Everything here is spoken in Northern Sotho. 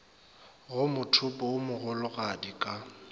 go mothopo wo mogologadi ka